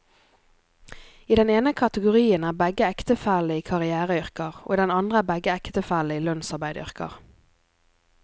I den ene kategorien er begge ektefellene i karriereyrker, og i den andre er begge ektefellene i lønnsarbeideryrker.